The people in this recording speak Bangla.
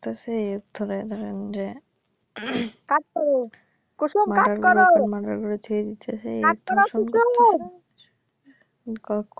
ভাবতেছি ধরেন যে